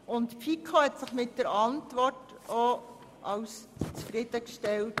Die FiKo hat erklärt, sie sei von der Antwort zufriedengestellt.